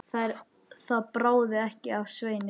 Það bráði ekki af Sveini.